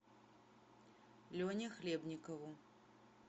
лене хлебникову